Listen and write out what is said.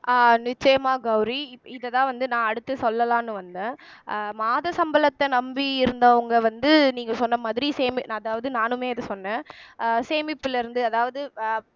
அஹ் நிச்சயமாக கௌரி இதைதான் வந்து நான் அடுத்து சொல்லலாம்னு வந்தேன் அஹ் மாத சம்பளத்தை நம்பி இருந்தவங்க வந்து நீங்க சொன்ன மாதிரி சேமி அதாவது நானுமே அத சொன்னேன் சேமிப்புல இருந்து அதாவது அஹ்